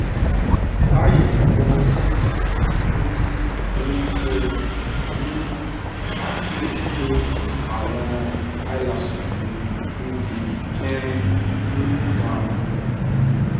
bayi mo um ti ṣe um akiyesi pe awọn eyelashes mi n di tinrin um gan